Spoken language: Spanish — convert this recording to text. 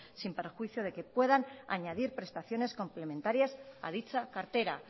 sin perjuicio de que puedan añadir prestaciones complementarias a dicha cartera